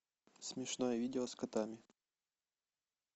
смешное видео с котами